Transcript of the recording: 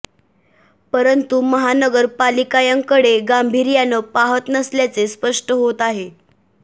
परंतु महानगर पालिकायाकडे गांभीर्याने पाहत नसल्याचे स्पष्ट होत आहे